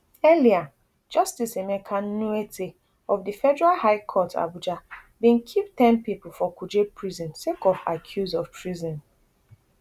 earlier justice emeka nwite of di federal high court abuja bin keep ten pipo for kuje prison sake of accuse of treason